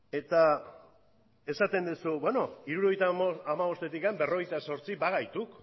eta esaten duzu hirurogeita hamabostetik berrogeita zortzi bagaituk